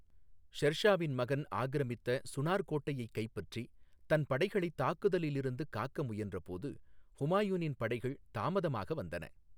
ஷெர் ஷாவின் மகன் ஆக்கிரமித்த சுனார் கோட்டையைக் கைப்பற்றி தன் படைகளைத் தாக்குதளிலிருந்து காக்க முயன்ற போது ஹுமாயூனின் படைகள் தாமதமாக வந்தன.